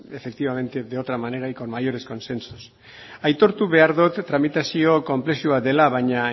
efectivamente de otra manera y con mayores consensos aitortu behar dot tramitazio konplexua dela baina